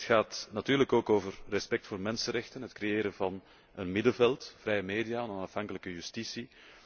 Het gaat natuurlijk ook over het respect voor mensenrechten, het creëren van een middenveld, vrije media en onafhankelijke justitie.